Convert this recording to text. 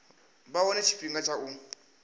vha wane tshifhinga tsha u